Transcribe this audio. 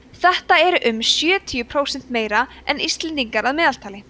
það er um sjötíu prósent meira en íslendingar að meðaltali